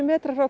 frá